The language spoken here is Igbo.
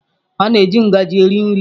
A na-eji ngaji eri nri.